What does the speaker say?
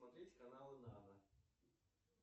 смотреть каналы нано